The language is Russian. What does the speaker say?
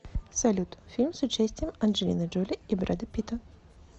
салют фильм с участием анджелины джоли и брэда питта